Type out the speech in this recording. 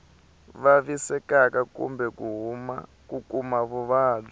vavisekaka kumbe ku kuma vuvabyi